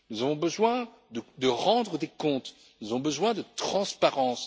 Nous avons besoin de rendre des comptes, nous avons besoin de transparence.